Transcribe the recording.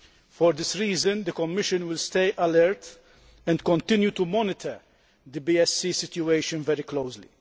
For this reason, the Commission will remain alert and continue to monitor the BSE situation very closely.